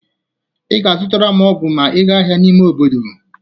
Ị ga-azụtaram ọgụ ma ị ga ahịa ime obodo.